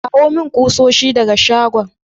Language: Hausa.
Kawo mun kusoshi daga shagon.